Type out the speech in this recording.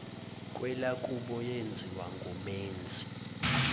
kwelakubo yenziwa ngumenzi